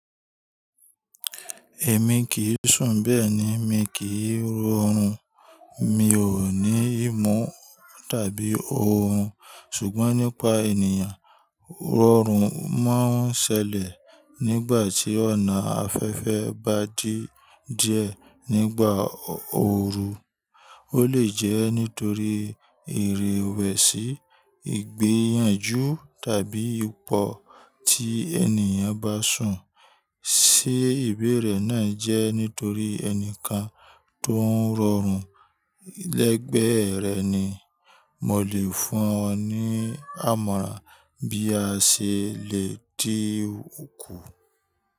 Èmi kì í sùn bẹ́ẹ̀ ni, mi kì í rọrùn, mi ò ní ìmú tàbí ohùn. Ṣùgbọ́n nípa ènìyàn, rọrùn máa ń ṣẹlẹ̀ nígbà tí ọ̀nà afẹ́fẹ́ bá dí jẹ nígbà ooru. Ó lè jẹ́ nítorí ìrèwẹ̀sì, ìgbẹ́yànjú tàbí ipò tí ènìyàn bá sùn sí ibi rẹ̀ náà jẹ́ nítorí ẹnìkan tó ń rọrùn lẹ́gbẹ̀ẹ́ rẹ̀ ni. Mo lè fún ọ ní àmọ̀rà bí a ṣe lè dí òkú.